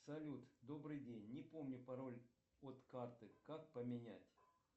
салют добрый день не помню пароль от карты как поменять